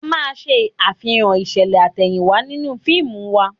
A máa ṣe àfihàn ìṣẹ̀lẹ̀ àtẹ̀yìnwá nínú fíìmù wa